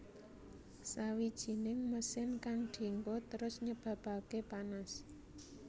Sawijining mesin kang dienggo terus nyebabake panas